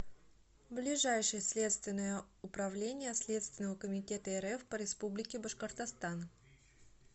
ближайший следственное управление следственного комитета рф по республике башкортостан